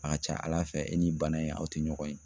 A ka ca Ala fɛ e ni bana in aw tɛ ɲɔgɔn ye